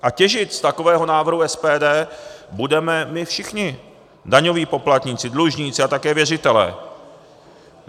A těžit z takového návrhu SPD budeme my všichni, daňoví poplatníci, dlužníci a také věřitelé.